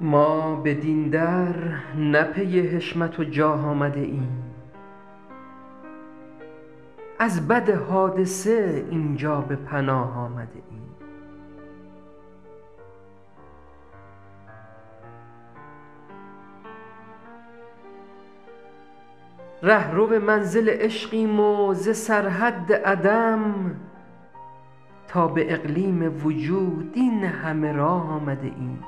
ما بدین در نه پی حشمت و جاه آمده ایم از بد حادثه این جا به پناه آمده ایم رهرو منزل عشقیم و ز سرحد عدم تا به اقلیم وجود این همه راه آمده ایم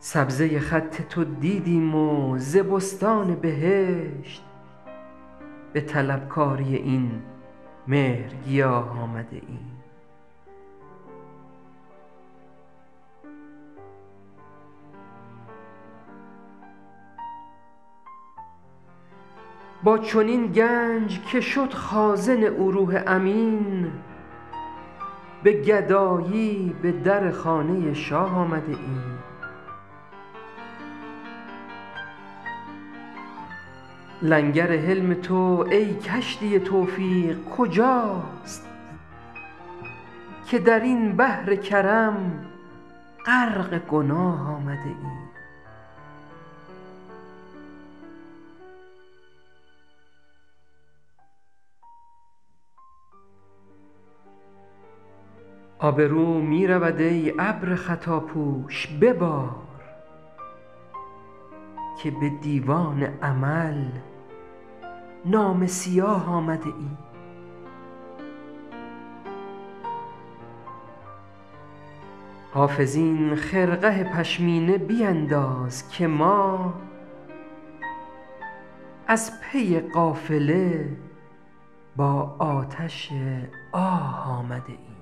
سبزه خط تو دیدیم و ز بستان بهشت به طلبکاری این مهرگیاه آمده ایم با چنین گنج که شد خازن او روح امین به گدایی به در خانه شاه آمده ایم لنگر حلم تو ای کشتی توفیق کجاست که در این بحر کرم غرق گناه آمده ایم آبرو می رود ای ابر خطاپوش ببار که به دیوان عمل نامه سیاه آمده ایم حافظ این خرقه پشمینه بینداز که ما از پی قافله با آتش آه آمده ایم